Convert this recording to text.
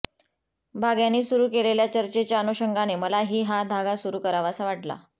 भाग्यानी सुरु केलेल्या चर्चेच्या अनुशंगाने मला ही हा धागा सुरु करावासा वाटला